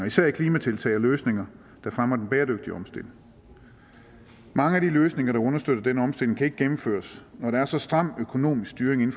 især i klimatiltag og løsninger der fremmer den bæredygtige omstilling mange af de løsninger der understøtter den omstilling kan ikke gennemføres når der er så stram økonomisk styring